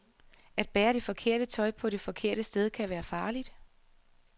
At bære det forkerte tøj på det forkerte sted kan være farligt.